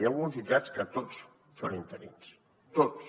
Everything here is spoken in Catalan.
hi ha alguns jutjats en què tots són interins tots